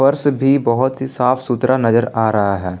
भी बहोत ही साफ सुथरा नजर आ रहा है।